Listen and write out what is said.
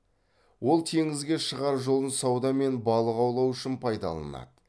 ол теңізге шығар жолын сауда мен балық аулау үшін пайдаланады